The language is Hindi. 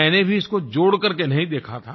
मैंने भी इसको जोड़ कर के नहीं देखा था